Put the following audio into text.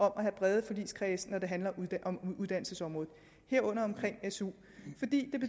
at have brede forligskredse når det handler om uddannelsesområdet herunder su